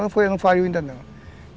Não faliu ainda não.